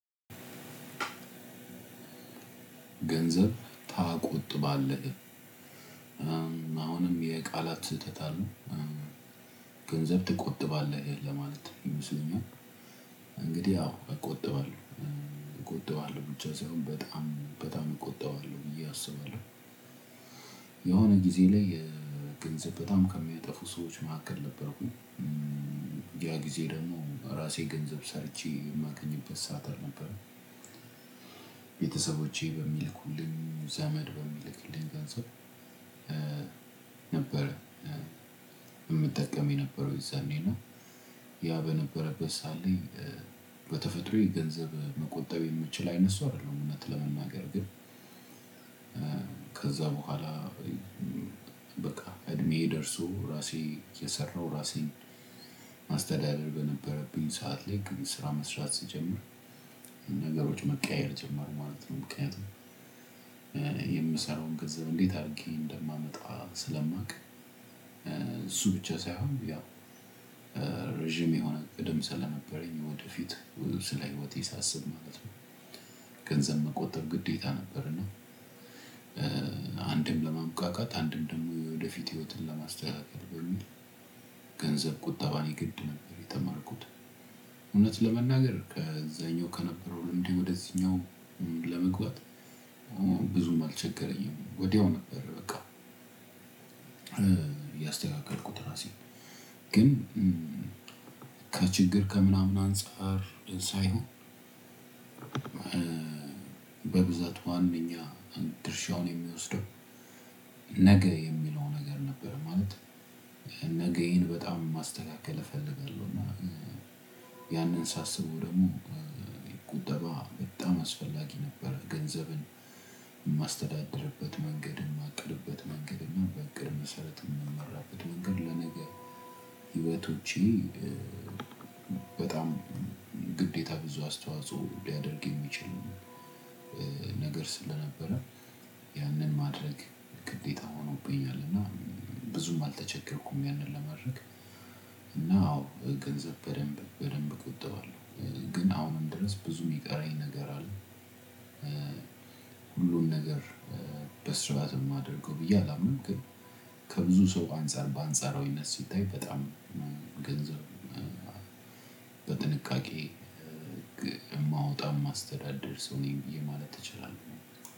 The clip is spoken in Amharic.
ገንዘብ ታቆጥባለህ አሁንም የቃላት ስህተት አሉ ገንዘብ ትቆጥባለህ ለማለት ይመስለኛል? እንግዲህ አዎ እቆጥባለሁ እቆጥባለሁ ብቻ ሳይሆን በጣም በጣም እቆጥባለሁ ብዬ አስባለው። የሆነ ጊዜ ላይ ገንዘብ በጣም ከሚያጠፉ ሰዎች መካከል ነበርኩኝ ያጊዜ ደግሞ እራሴገንዘብ ሰርቼ የማገኝበት ሰዓት አልነበረም። ቤተሰቦቼ በሚልኩልኝ ዘመድ በሚልክልኝ ገንዘብ ነበር። የምጠቀም የነበረው የዛኔና ያ በነበረበት ሰዓት በተፈጥሮዬ ገንዘብ መቆጠብ የምችል አይነት ሰው አይደለሁም። እውነት ለመናገር ግን። ከዛ በኋላ። በቃ እድሜዬ ደርሶ ራሴ እየሰራው ራሴን ማስተዳደር በነበረብኝ ሰዓት ላይ ግቡ ስራ መስራት ስጀምር ነገሮች መቀየር ጀመሩ ማለት ነው። ምክንያቱም የምሰራውን ገንዘብ እንዴት አድርጌ እንደማመጣ ስለማውቅ እሱ ብቻ ሳይሆን ያው ረዥም የሆነ እቅድም ስለነበረኝ ወደፊት ስለ ህይወቴ ሳስብ ማለት ነው። ገንዘብ መቆጠብ ግዴታ ነበርና። አንድም ለበቃቃት አንድም ደግሞ የወደፊት ህይወትን ለማስተካከል በሚል ገንዘብ ቁጠባን የግድ ነበር የተማርኩት። እውነት ለመናገር ከዛኛው ከነበረው ልምዴ ወደዚህኛው ለመግባት ብዙም አልቸገረኝም ወዲያው ነበር በቃ። እያስተካከልኩት ራሴን ግን ከችግር ከምናምን አንፃር ሳይሆን። በብዛት ዋናኛ ድርሻውን የሚወስደው ነገ የሚለው ነገር ነበር። ማለት ነገዬን በጣም ማስተካከል እፈልጋለሁ። እና ያንን ሳስበው ደግሞ ቁጠባ በጣም አስፈላጊ ነበር። ገንዘብን እማስተዳድርበት መንገድ እማቅድበት መንገድ እና በእቅድ መሰረት የምመራበት መንገድ ለነገ ሂወቶቼ በጣም ግዴታ ብዙ አስተዋጽኦ ሊያደርግ የሚችል ነገር ስለነበረ ያንን ማድረግ ግዴታ ሆኖብኛል። እና ብዙም አልተቸገርኩም ያንን ለማድረግ። እና አዎ ገንዘብ በደንብ በደንብ እቆጥባለሁ። ግን አሁንም ድረስ ብዙ የሚቀረኝ ነገር አለ። ሁሉን ነገር በስራትነው የማደርገው ብዬ አላምንም። ግን ከብዙ ሰው አንፃር በአንጻራዊነት ሲታይ በጣም ገንዘብ በጥንቃቄ እማውጣት እማስተዳድር ሰው ነኝ ብዬ ማለት እችላለሁ።